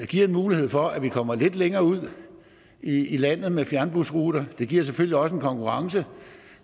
giver en mulighed for at vi kommer lidt længere ud i landet med fjernbusruter det giver selvfølgelig også en konkurrence